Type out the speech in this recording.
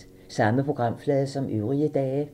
Samme programflade som øvrige dage